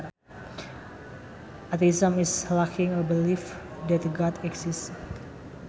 Atheism is lacking a belief that God exists